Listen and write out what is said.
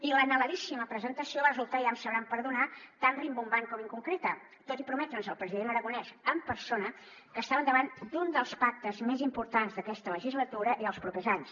i l’anheladíssima presentació va resultar ja m’ho sabran perdonar tan rimbombant com inconcreta tot i prometre’ns el president aragonès en persona que estàvem davant d’un dels pactes més importants d’aquesta legislatura i dels propers anys